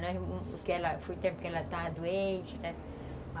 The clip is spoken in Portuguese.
Foi o tempo que ela estava doente, né.